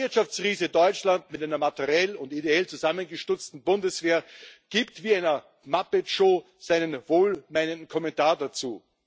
Der Wirtschaftsriese Deutschland mit einer materiell und ideell zusammengestutzten Bundeswehr gibt wie in einer Muppet-Show seinen wohlmeinenden Kommentar dazu.